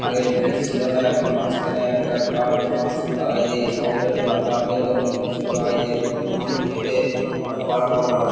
আগে ব্রিজ ছিলোনা এখন মাঝখানে একটা কাঠ বাঁশ ঢালাই দিয়ে এইসমস্ত একটা যাতায়াতের জন্য ব্রিজ তৈরী করা হয়েছে মানুষ হেঁটে আ পারাপার হয়।